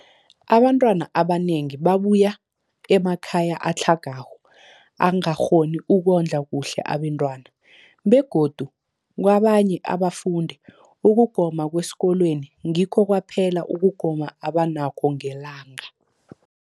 Abantwana abanengi babuya emakhaya atlhagako angakghoni ukondla kuhle abentwana, begodu kabanye abafundi, ukugoma kwesikolweni ngikho kwaphela ukugoma abanakho ngelanga.